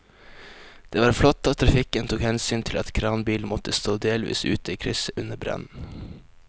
Det var flott at trafikken tok hensyn til at kranbilen måtte stå delvis ute i krysset under brannen.